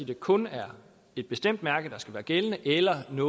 det kun er et bestemt mærke der skal være gældende eller om det